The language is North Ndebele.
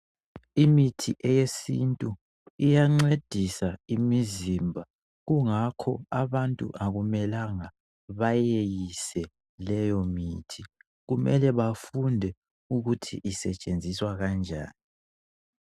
Imithi eyesintu iyancedisa imizimba kungakho abantu akumelanga bayeyise leyomithi kumele bafunde ukuthi isetshenziswa kanjani.